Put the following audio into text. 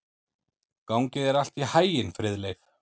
Gangi þér allt í haginn, Friðleif.